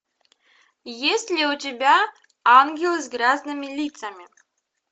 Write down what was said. есть ли у тебя ангелы с грязными лицами